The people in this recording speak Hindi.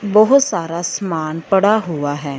बहुत सारा सामान पड़ा हुआ है।